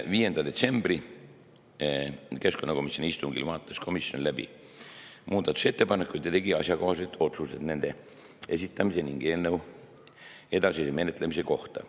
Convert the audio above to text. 5. detsembril toimunud keskkonnakomisjoni istungil vaatas komisjon läbi muudatusettepanekud ja tegi asjakohased otsused nende esitamise ning eelnõu edasise menetlemise kohta.